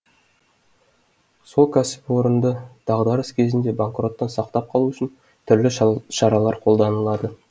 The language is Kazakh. сол кәсіпорынды дағдарыс кезінде банкроттан сақтап қалу үшін түрлі шаралар қолданылады